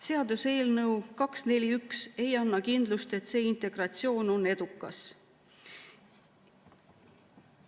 Seaduseelnõu 241 ei anna kindlust, et see integratsioon on edukas.